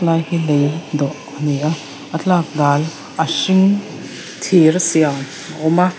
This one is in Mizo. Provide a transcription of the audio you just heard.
ti lai hi lei dawh ani a a tlak dal a hring thir a siam a awm a.